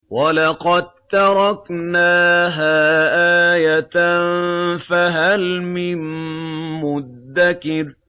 وَلَقَد تَّرَكْنَاهَا آيَةً فَهَلْ مِن مُّدَّكِرٍ